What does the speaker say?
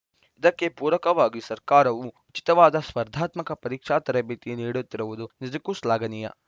ಇದಕ್ಕೆ ಪೂರಕವಾಗಿ ಸರ್ಕಾರವು ಉಚಿತವಾದ ಸ್ಪರ್ಧಾತ್ಮಕ ಪರೀಕ್ಷಾ ತರಬೇತಿ ನೀಡುತ್ತಿರುವುದು ನಿಜಕ್ಕೂ ಶ್ಲಾಘನೀಯ